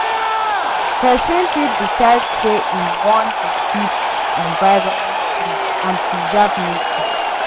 Persin fit decide say im won de Keep environment clean and preserve nature